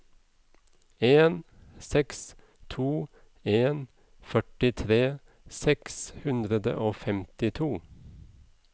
en seks to en førtitre seks hundre og femtito